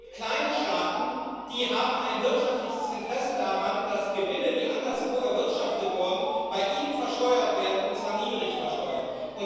Es gibt kleine Staaten, die ein wirtschaftliches Interesse daran haben, dass Gewinne, die anderswo erwirtschaftet wurden, bei ihnen versteuert werden, und zwar niedrig versteuert.